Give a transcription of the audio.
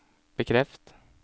bekreft